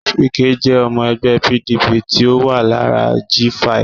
Wike jẹ́ ọmọ ẹgbẹ́ PDP tí ó wà lára G5